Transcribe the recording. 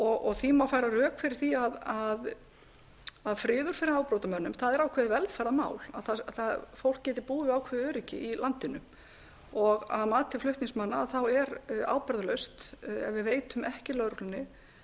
og því má færa rök fyrir því að það er ákveðið velferðarmál að fólk geti búið við ákveðið öryggi í landinu að mati flutningsmanna er ábyrgðarlaust ef við veitum ekki lögreglunni